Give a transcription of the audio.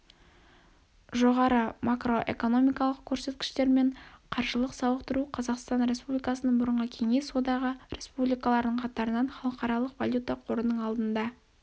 жоғары макроэкономикалық көрсеткіштер мен қаржылық сауықтыру қазақстан республикасының бұрынғы кеңес одағы республикаларының қатарынан халықаралық валюта қорының алдында